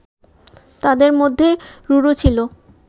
তাদের মধ্যে রুরু ছিল